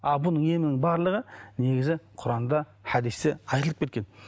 а бұның емінің барлығы негізі құранда хадисте айтылып кеткен